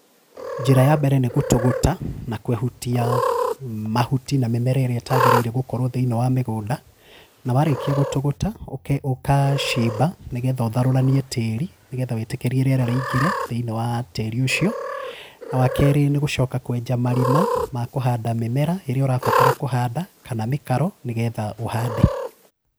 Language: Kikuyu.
Njĩra yambere nĩ gũtũgũta, na kwehutiaa mahuti na mĩmera ĩrĩa ĩtagĩrĩire gũkorwo thĩinĩ wa mĩgũnda, na warĩkia gũtũgũta, ũke ũkacimba nĩgetha ũtharũranie tĩri nĩgetha wĩtĩkĩrie rĩera rĩingĩre thĩinĩ wa tĩrĩ ũcio, na wakerĩ nĩgũcoka kwenja marima ma kũhanda mĩmera ĩrĩa ũrabatara kũhanda kana mĩkaro nĩgetha ũhande.